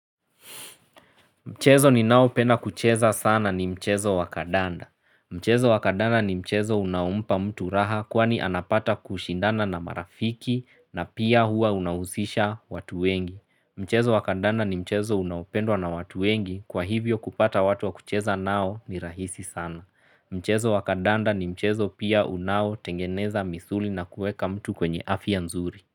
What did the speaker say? Mchezo ninaopenda kucheza sana ni mchezo wa kandanda. Mchezo wa kandanda ni mchezo unaompa mtu raha kwani anapata kushindana na marafiki na pia hua unahusisha watu wengi. Mchezo wa kandanda ni mchezo unaopendwa na watu wengi kwa hivyo kupata watu wa kucheza nao ni rahisi sana. Mchezo wa kandanda ni mchezo pia unaotengeneza misuli na kueka mtu kwenye afya nzuri.